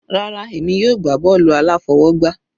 Rárá, èmi yóò gbá bọ́ọ̀lù aláfọwọgbá.